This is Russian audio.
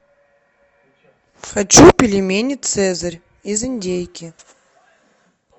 хочу пельмени цезарь из индейки